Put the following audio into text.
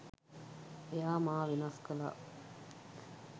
එයා මා වෙනස් කළා.